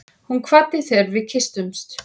Hún kvaddi þegar við kysstumst.